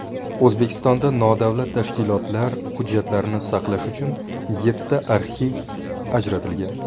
O‘zbekistonda nodavlat tashkilotlar hujjatlarini saqlash uchun yettita arxiv ajratilgan.